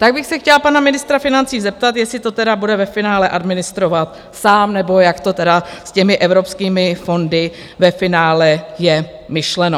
Tak bych se chtěla pana ministra financí zeptat, jestli to tedy bude ve finále administrovat sám, nebo jak to tedy s těmi evropskými fondy ve finále je myšleno.